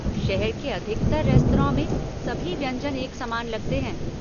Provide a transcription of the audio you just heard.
शहर के अधिकतर रेस्तरॉ में, सभी व्यंजन एक समान लगते हैं।